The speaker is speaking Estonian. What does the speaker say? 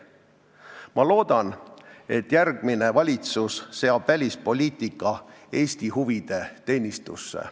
Ma loodan, et järgmine valitsus seab välispoliitika Eesti huvide teenistusse.